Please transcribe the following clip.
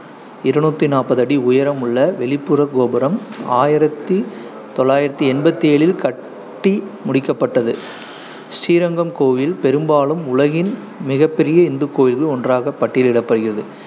இருநூத்தி நாப்பது அடி உயரம் கொண்ட வெளிப்புறக் கோபுரம், ஆயிரத்தி தொள்ளாயித்தி எம்பத்தி ஏழில் கட்டி முடிக்கப்பட்டது. ஸ்ரீரங்கம் கோயில் பெரும்பாலும் உலகின் மிகப்பெரிய இந்துக் கோயில்களில் ஒன்றாக பட்டியலிடப்படுகிறது,